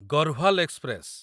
Garhwal express